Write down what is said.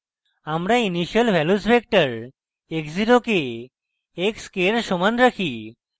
আমরা initial values vector x 0 কে x k we সমান রাখি